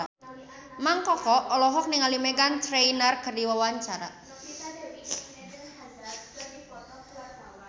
Mang Koko olohok ningali Meghan Trainor keur diwawancara